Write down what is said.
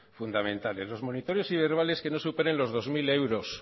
fundamentales los monitores y verbales que no superen los dos mil euros